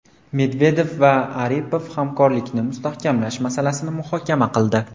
Medvedev va Aripov hamkorlikni mustahkamlash masalasini muhokama qildi.